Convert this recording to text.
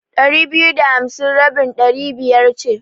Ɗari biyu da hamsi rabin Ɗari biyar ce.